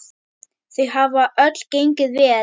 Þau hafa öll gengið vel.